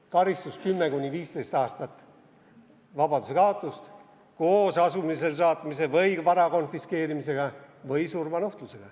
Karistus 10–15 aastat vabadusekaotust koos asumisele saatmise või vara konfiskeerimisega või surmanuhtlus.